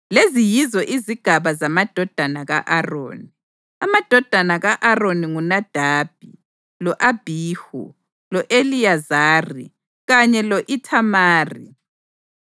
Lezi yizo izigaba zamadodana ka-Aroni: Amadodana ka-Aroni nguNadabi, lo-Abhihu, lo-Eliyazari kanye lo-Ithamari.